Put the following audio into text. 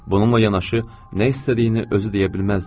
Bununla yanaşı nə istədiyini özü deyə bilməzdi.